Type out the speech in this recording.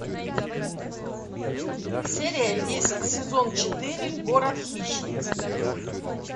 серия десять сезон четыре город хищниц